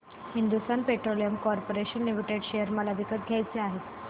Hindustan Petroleum Corporation Limited share मला विकत घ्यायचे आहेत